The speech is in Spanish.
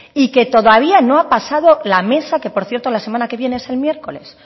y que todavía no ha pasado la mesa que por cierto la semana que viene es el miércoles